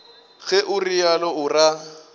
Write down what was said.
ge o realo o ra